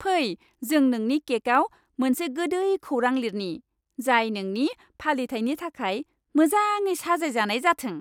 फै जों नोंनि केकआव मोनसे गोदै खौरां लिरनि, जाय नोंनि फालिथायनि थाखाय मोजाङै साजायजानाय जाथों।